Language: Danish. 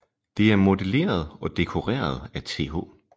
Det er modelleret og dekoreret af Th